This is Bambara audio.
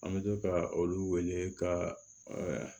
An bɛ to ka olu wele ka